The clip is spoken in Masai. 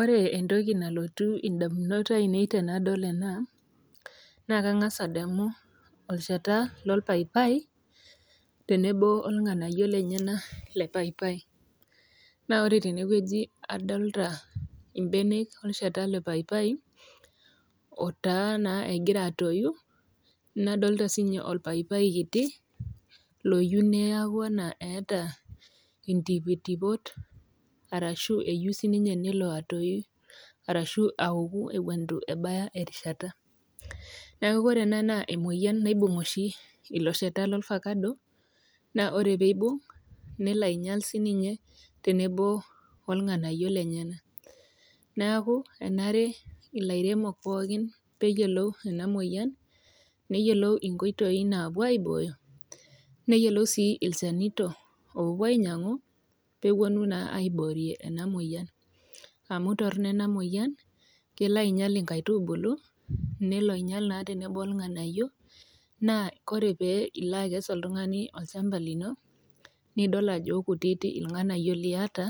Ore entoki nalotu edamunot ainei tenadol ena naa kangas adamu loo papai tenebo ilnganayio lenyena lee papai na ore tenewueji nadolita mbenek olchata lee paipai otaa naa egira atoi nadolita sininye orpaipai kiti oyieu neeku etaa entipitipot ashu eyieu sinye nelo atoyu ashu awangu Eton eitu ebay erishata neeku ore ena naa emoyian oshi naibug elo shata loo orvacado naa ore pee eibung nelo ainyial sininye tenebo olnganayio lenyena neeku enare olairemoni pookin pee eyiolou ena moyian neyiolou enkoitoi napuo aiboyo neyiolou sii ilchanito loopuo ainyiang'u pee epuonu naa aiborie ena moyian amu Torono ena moyian kelo ainyial enkaitubulu nelo ainyial naa tenebo ilnganayio naa tenilo akes oltung'ani olchamba lino nidol Ajo kutiti ilnganayio liata